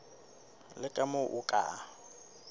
le ka moo o ka